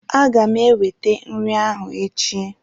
Aga m ewete nri ahụ echi